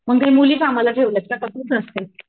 मग काय मुली कामाला ठेवल्यात का का तूच असते?